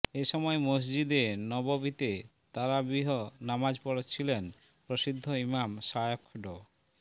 এ সময় মসজিদে নববিতে তারাবিহ নামাজ পড়াচ্ছিলেন প্রসিদ্ধ ইমাম শায়খ ড